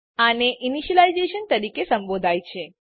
આને ઇનીશલાઇઝેશન તરીકે સંબોધાય છે